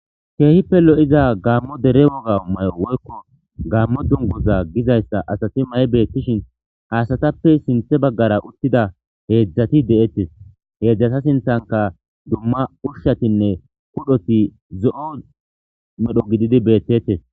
keehippe lo7iza gaammo dere woga may7o woykko gammo dungoza gizayssa asati may beettishin asatappe sinthe baggara uttida heedzdzati de7ettes heedzdzata sinthanka dumma ushshatinne kudhoti zo7o medho gididi beettettes